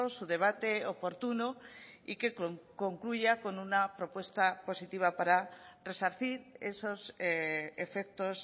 su debate oportuno y que concluya con una propuesta positiva para resarcir esos efectos